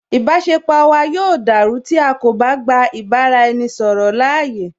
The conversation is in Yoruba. Ìbáṣepọ̀ wa yóò dàrú tí a kò bá gba ìbá ra ẹni ṣọ̀rọ̀ láàyè